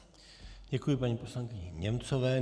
Děkuji paní poslankyni Němcové.